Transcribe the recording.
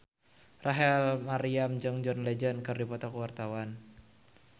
Rachel Maryam jeung John Legend keur dipoto ku wartawan